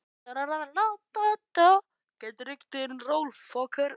Veistu að ég er systir þín.